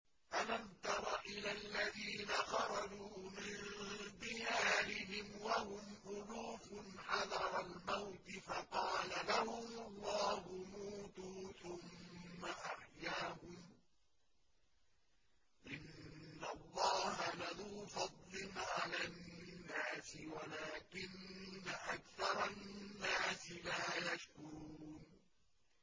۞ أَلَمْ تَرَ إِلَى الَّذِينَ خَرَجُوا مِن دِيَارِهِمْ وَهُمْ أُلُوفٌ حَذَرَ الْمَوْتِ فَقَالَ لَهُمُ اللَّهُ مُوتُوا ثُمَّ أَحْيَاهُمْ ۚ إِنَّ اللَّهَ لَذُو فَضْلٍ عَلَى النَّاسِ وَلَٰكِنَّ أَكْثَرَ النَّاسِ لَا يَشْكُرُونَ